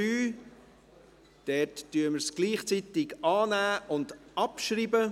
Dort werden wir gleichzeitig annehmen und abschreiben.